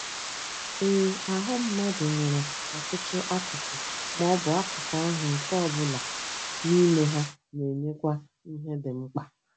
Ee, ahụ́ mmadụ nwere ọtụtụ akụkụ, ma ọ bụ akụkụ ahụ́, nke ọ bụla n’ime ha na-enyekwa ihe dị mkpa.